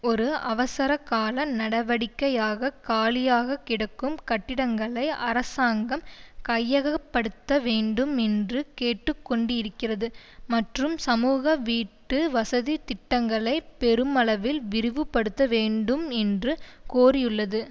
ஒரு அவசர கால நடவடிக்கையாக காலியாகக் கிடைக்கும் கட்டிடங்களை அரசாங்கம் கையகப்படுத்த வேண்டும் என்று கேட்டு கொண்டிருக்கிறது மற்றும் சமூக வீட்டு வசதி திட்டங்களை பெருமளவில் விரிவுபடுத்த வேண்டும் என்றும் கோரியுள்ளது